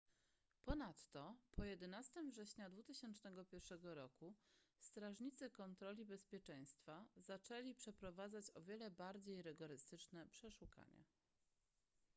ponadto po 11 września 2001 roku strażnicy kontroli bezpieczeństwa zaczęli przeprowadzać o wiele bardziej rygorystyczne przeszukania